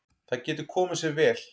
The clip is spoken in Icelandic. Það getur komið sér vel.